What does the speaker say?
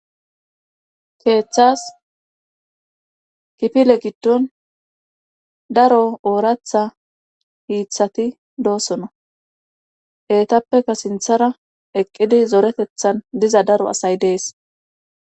keeththas kipile giddon daro ooratha hiiththati doosona etappeka sinthara eqqidi zoretethan diza daro asay dees